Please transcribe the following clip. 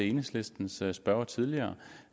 enhedslistens spørger tidligere